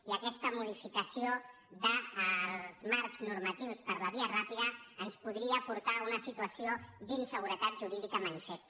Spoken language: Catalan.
i aquesta modificació dels marcs normatius per la via ràpida ens podria portar a una situació d’inseguretat jurídica manifesta